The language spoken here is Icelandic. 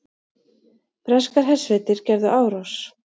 Breskar hersveitir gerðu árás